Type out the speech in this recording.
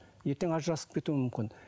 ертең ажырасып кетуі мүмкін